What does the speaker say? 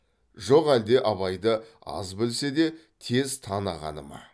жоқ әлде абайды аз білсе де тез танығаны ма